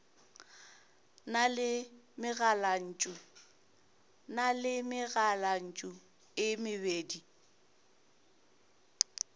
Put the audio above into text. na le megalantšu e mebedi